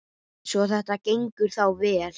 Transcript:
Svo þetta gengur þá vel?